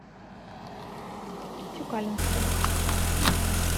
тюкалинске